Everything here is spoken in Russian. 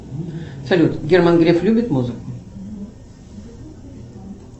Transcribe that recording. салют герман греф любит музыку